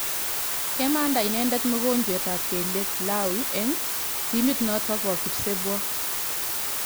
Kemanda inendet mogonjwet ap kelyek Lawi eng timit notok po kipsebwo.